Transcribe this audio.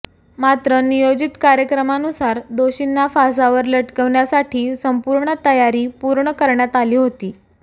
मात्र नियोजीत कार्यक्रमानुसार दोषींना फासावर लटकवण्यासाठी संपूर्ण तयारी पूर्ण करण्यात आली होती